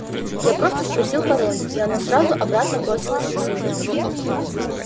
я просто спросил пароль и оно сразу обратно бросилось на север